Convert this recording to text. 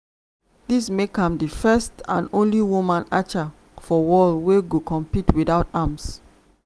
dis make am di first and only woman archer for world wey go compete witout arms.